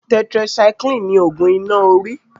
Tetracycline ni ògùn iná orí